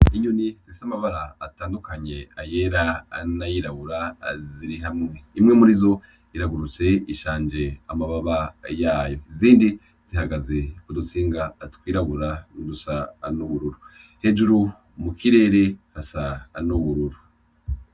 Inyoni zifise amabara atandukanye ayera n'ayirabura ziri hmawe imwe murizo iragurutse iyindi ishanje amababa yayo izindi zihagaze kudutsinga tw'irabura n'udusa n'ubururu hejuru mukirere hasa n'ubururu.